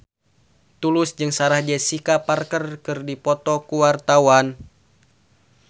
Tulus jeung Sarah Jessica Parker keur dipoto ku wartawan